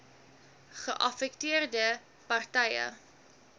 geaffekteerde par tye